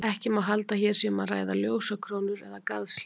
Ekki má halda að hér sé um að ræða ljósakrónur eða garðshlið.